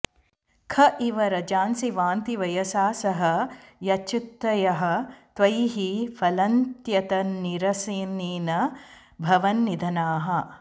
ख इव रजांसि वान्ति वयसा सह यच्छ्रुतयः त्वयि हि फलन्त्यतन्निरसनेन भवन्निधनाः